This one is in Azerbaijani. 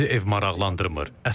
Bizi ev maraqlandırmır.